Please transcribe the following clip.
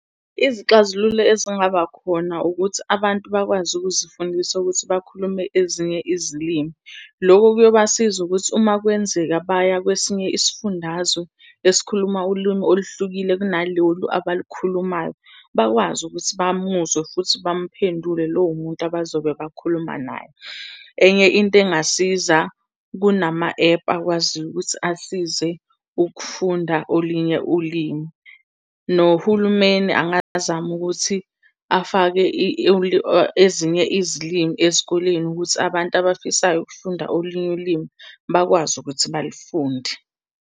Izixazululo ezingaba khona ukuthi abantu bakwazi ukuzifundisa ukuthi bakhulume ezinye izilimi. Loko kuyobasiza ukuthi uma kwenzeka baya kwesinye isifundazwe esikhuluma ulimi oluhlukile kunalolu abalukhulumayo, bakwazi ukuthi bamuzwe futhi bamphendule lowo muntu abazobe bakhuluma naye. Enye into engasiza, kunama-app akwaziyo ukuthi asize ukufunda olinye ulimi. Nohulumeni angazama ukuthi afake ezinye izilimi ezikoleni ukuthi abantu abafisayo ukufunda olinye ulimi bakwazi ukuthi balifunde.